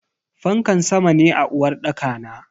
Fankar sama ne a uwarɗaka na.